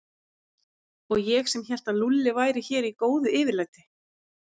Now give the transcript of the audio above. Og ég sem hélt að Lúlli væri hér í góðu yfirlæti.